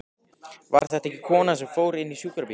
Var þetta ekki konan sem fór inn í sjúkrabílinn?